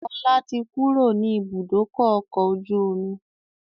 Ọlá tí kúrò ní ibùdókọ̀ ọkọ̀ ojú omi